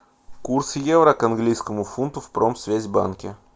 курс евро к английскому фунту в промсвязьбанке